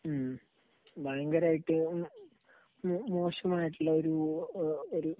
ഉം. ഭയങ്കരമായിട്ട് മോശമായിട്ടുള്ള ഒരു, ഒരു